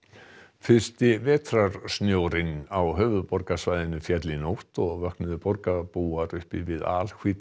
fyrsti vetrarsnjórinn á höfuðborgarsvæðinu féll í nótt og vöknuðu borgarbúar upp við